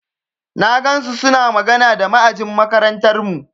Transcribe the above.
Na ga suna magana da ma'ajin makarantarmu.